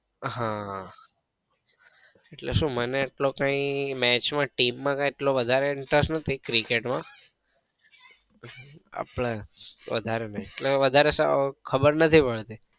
હા એટલે શું મને એટલો કઈ match માં team એટલો વધારે interest નથી cricket માં આપડે વધારે નઈ એટલે વધારે સાવ ખબર નઈ પડતી.